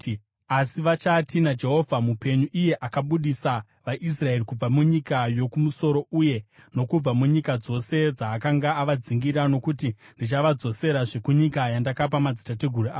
asi vachati, ‘NaJehovha mupenyu, akabudisa vaIsraeri kubva munyika yokumusoro uye nokubva munyika dzose dzaakanga avadzingira.’ Nokuti ndichavadzoserazve kunyika yandakapa madzitateguru avo.